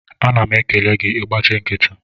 Ana m ekele gị, ị gbachị nkịtị